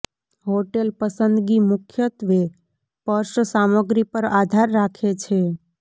hotel પસંદગી મુખ્યત્વે purse સામગ્રી પર આધાર રાખે છે